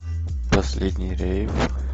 последний рейв